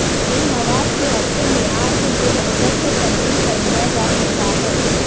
ان مواد کے اچھے معیار کے لئے بہتر سے تبدیل کر دیا جا سکتا ہے